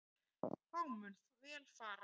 Þá mun vel fara.